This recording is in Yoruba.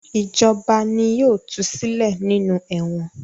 Ìjọba ni yóò tu sílẹ̀ nínú ẹ̀wọ̀n.